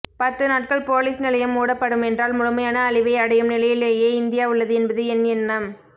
பத்துநாட்கள் போலீஸ்நிலையம் மூடப்படுமென்றால் முழுமையான அழிவை அடையும் நிலையிலேயே இந்தியா உள்ளது என்பது என் எண்ணம்